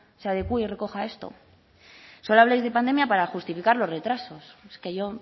se adecúe y recoja esto solo habláis de pandemia para justificar los retrasos es que yo